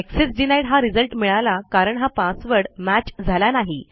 access denied हा result मिळाला कारण हा पासवर्ड मॅच झाला नाही